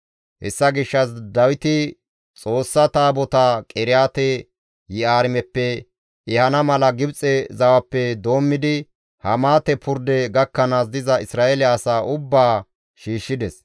Hessa gishshas Dawiti Xoossaa Taabotaa Qiriyaate-Yi7aarimeppe ehana mala Gibxe zawappe doommidi Hamaate purde gakkanaas diza Isra7eele asaa ubbaa shiishshides.